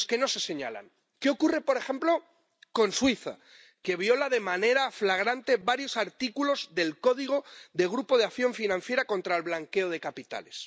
En los que no se señalan. ¿Qué ocurre, por ejemplo, con Suiza, que viola de manera flagrante varios artículos del código del Grupo de Acción Financiera Internacional sobre el Blanqueo de Capitales?